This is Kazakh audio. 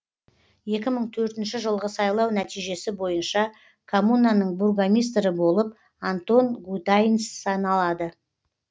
екі мың төртінші жылғы сайлау нәтижесі бойынша коммунаның бургомистрі болып антон гутайнц саналады